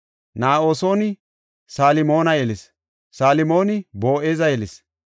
Na7asooni Salmoona yelis; Salmooni Boo7eza yelis;